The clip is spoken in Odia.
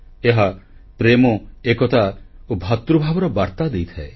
ଏହା ପ୍ରେମ ଏକତା ଓ ଭ୍ରାତୃଭାବର ବାର୍ତ୍ତା ଦେଇଥାଏ